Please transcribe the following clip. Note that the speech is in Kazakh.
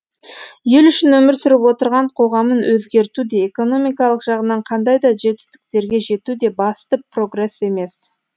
ел үшін өмір сүріп отырған қоғамын өзгерту де экономикалық жағынан қандай да жетістіктерге жету де басты прогресс емес